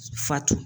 Fati